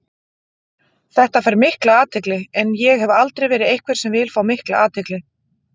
Þetta fær mikla athygli en ég hef aldrei verið einhver sem vill fá mikla athygli.